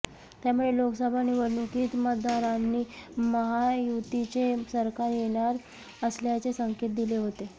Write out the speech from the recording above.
त्यामुळे लोकसभा निवडणुकीत मतदारांनी महायुतीचे सरकार येणार असल्याचे संकेत दिले होते